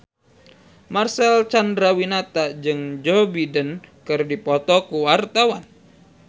Marcel Chandrawinata jeung Joe Biden keur dipoto ku wartawan